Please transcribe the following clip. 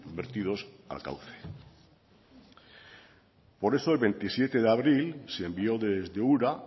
vertidos al cauce por eso el veintisiete de abril se envió desde ura